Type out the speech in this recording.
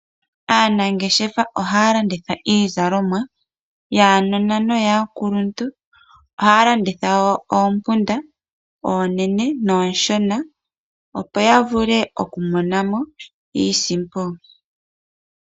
Aanangeshefa ohaya landitha iizalomwa yaanona noyaakuluntu, ohaya landitha wo oompunda oonene noonshona, opo ya vule oku mona mo iisimpo.